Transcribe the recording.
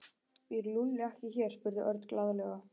Býr Lúlli ekki hér? spurði Örn glaðlega.